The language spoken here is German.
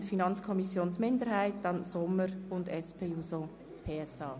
der Mietkosten im Budget des Amtes für Grundstücke und Gebäude (AGG) aus.